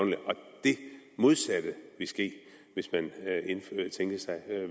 det modsatte vil ske hvis man tænker sig